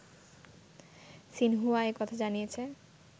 Xinhua এ কথা জানিয়েছে